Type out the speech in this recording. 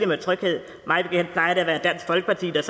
med tryghed mig bekendt plejer det at være dansk folkeparti der